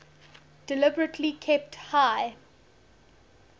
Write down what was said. deliberately kept high